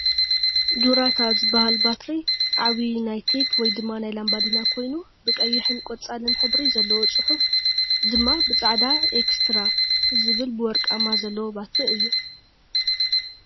ዱራታ ዝብል ባትሪ ዓብይ ናይ ቴፕ ወይ ድማ ናይ ላምባዲና ኮይኑ ብቀይሕን ቆፃልን ሕብሪ ዘለዎ ፅሑፉ ድማ ብፃዕዳ ኤክከስትራ ዝብል በወርቃማ ዘለዎ ባትሪ እዩ።